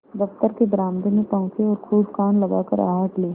दफ्तर के बरामदे में पहुँचे और खूब कान लगाकर आहट ली